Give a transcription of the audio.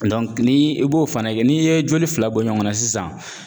ni i b'o fana kɛ n'i ye joli fila bɔ ɲɔgɔn na sisan